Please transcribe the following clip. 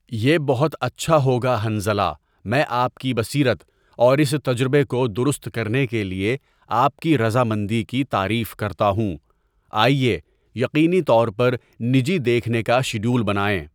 یہ بہت اچھا ہوگا حنظلہ میں آپ کی بصیرت اور اس تجربے کو درست کرنے کے لئے آپ کی رضا مندی کی تعریف کرتا ہوں آئیے یقینی طور پر نجی دیکھنے کا شڈیول بنائیں.